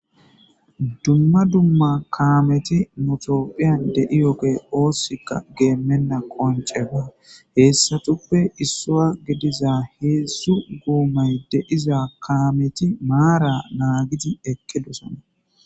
Duma duma kameti nu bittani deyewugey osikka gemena qonicce hesatupe issuwa gidiza hedzu gomayi deyiza kameti mara nagidi eqidosona